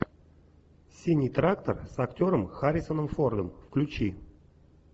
синий трактор с актером харрисоном фордом включи